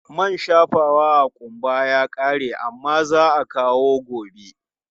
Man shafawa a ƙumba ya ƙare amma za a kawo gobe.